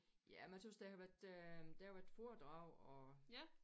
Ja men jeg tøs der har været øh der har været foredrag og